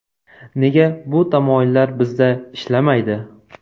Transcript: Nega bu tamoyillar bizda ishlamaydi?